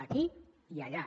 aquí i allà